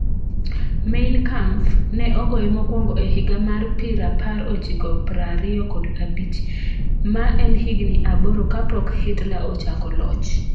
Mein Kampf ne ogoye mokwongo e higa mar piraapar ochiko prariyo kod abich, ma en higni aboro kapok Hitler ochako loch.